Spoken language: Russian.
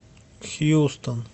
хьюстон